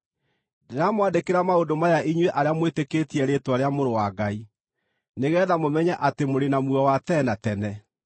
Ndĩramwandĩkĩra maũndũ maya inyuĩ arĩa mwĩtĩkĩtie rĩĩtwa rĩa Mũrũ wa Ngai, nĩgeetha mũmenye atĩ mũrĩ na muoyo wa tene na tene.